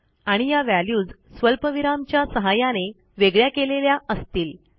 आणि या व्हॅल्यूज स्वल्पविरामच्या सहाय्याने वेगळ्या केलेल्या असतील